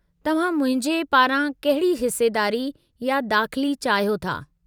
तव्हां मुंहिंजे पारां कहिड़ी हिसेदारी या दाख़िली चाहियो था?